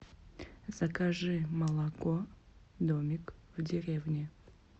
закажи молоко домик в деревне